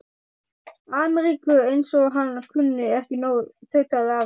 Ameríku, eins og hann kunni ekki nóg, tautaði afi.